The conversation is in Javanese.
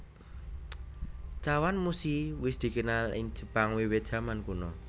Chawanmushi wis dikenal ing Jepang wiwit jaman kuno